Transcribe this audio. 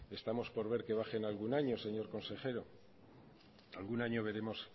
estamos por ver que bajan algún año señor consejero algún año veremos